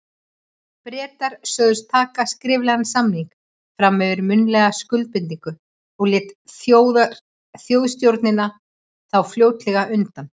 Bretar sögðust taka skriflegan samning fram yfir munnlega skuldbindingu, og lét Þjóðstjórnin þá fljótlega undan.